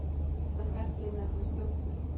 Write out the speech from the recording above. Þetta ferli nefnist jórtur.